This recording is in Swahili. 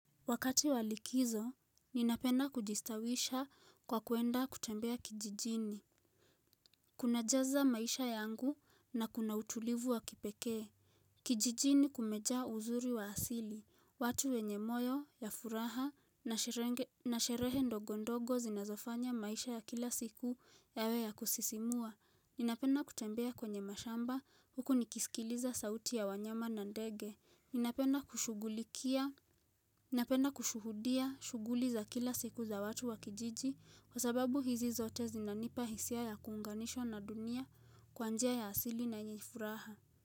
Wakati walikizo, ninapenda kujistawisha kwa kuenda kutembea kijijini. Kuna jaza maisha yangu na kuna utulivu wa kipekee. Kijijini kumejaa uzuri wa asili. Watu wenye moyo, ya furaha, na sherehe ndogo ndogo zinazofanya maisha ya kila siku yawe ya kusisimua. Ninapenda kutembea kwenye mashamba huku nikisikiliza sauti ya wanyama na ndege. Ninapenda kushugulikia. Napenda kushuhudia shuguli za kila siku za watu wa kijiji Kwa sababu hizi zote zinanipa hisia ya kuunganishwa na dunia kwa njia ya asili na yenye furaha.